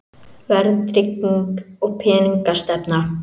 Verðtrygging og peningastefna.